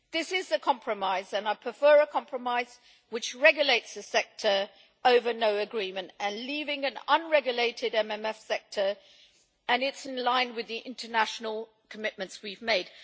This is a compromise, and I prefer a compromise which regulates the sector over no agreement and leaving an unregulated MMF sector, and it is in line with the international commitments we have made.